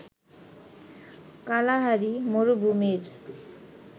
Kalahari মরুভূমির